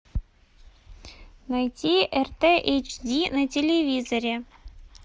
найти рт эйч ди на телевизоре